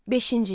Beşinci.